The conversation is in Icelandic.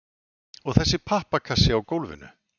og þessi pappakassi á gólfinu?